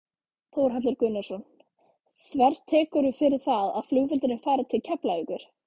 Þórhallur Gunnarsson: Þvertekurðu fyrir það að flugvöllurinn fari til Keflavíkur?